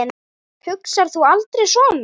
Hugsar þú aldrei svona?